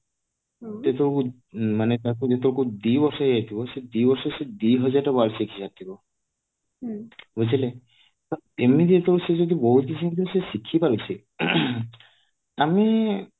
କିନ୍ତୁ ମାନେ ତାକୁ ଯେତେବେଳକୁ ଦି ବର୍ଷ ହେଇଥିବ ସେଇ ଦି ବର୍ଷରେ ସେ ଦିହଜାର ଟା word ଶିଖି ସାରିଥିବ ବୁଝିଲେ ତ ଏମିତି ତ ସେ ବହୁତ କିଛି ଜିନିଷ ସେ ଶିଖିପାରୁଛି ଆମେ